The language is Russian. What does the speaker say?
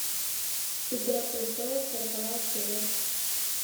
игра престолов сороковая серия